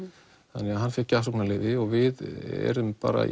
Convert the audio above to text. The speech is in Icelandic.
þannig að hann fékk gjafsóknarleyfi og við erum bara